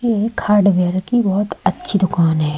एक हार्डवेयर की बहुत अच्छी दुकान है।